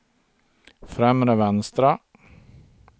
främre vänstra